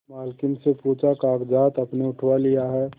मालकिन से पूछाकागजात आपने उठवा लिए हैं